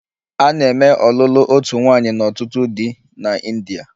A na-eme ọlụlụ otu nwaanyị na ọtụtụ di na India.